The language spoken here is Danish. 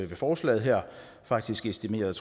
ved forslaget her faktisk estimerede